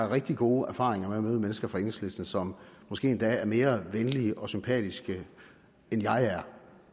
har rigtig gode erfaringer med at møde mennesker fra enhedslisten som måske endda er mere venlige og sympatiske end jeg er